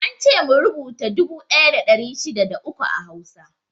Ance mu rubuta dubu ɗaya da ɗari shida da uku a Hausa.